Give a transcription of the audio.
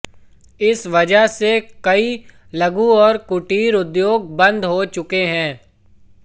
इस वजह से कई लघु और कुटीर उद्योग बंद हो चुके हैं